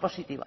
positiva